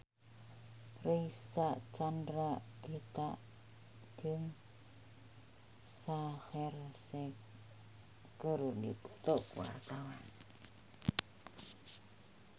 Reysa Chandragitta jeung Shaheer Sheikh keur dipoto ku wartawan